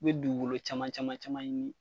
I be dugukolo caman caman caman ɲini